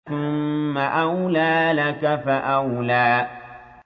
ثُمَّ أَوْلَىٰ لَكَ فَأَوْلَىٰ